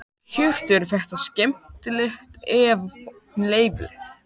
Hjörtur: Er þetta skemmtilegt eða?